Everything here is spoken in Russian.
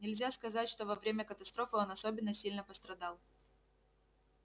нельзя сказать что во время катастрофы он особенно сильно пострадал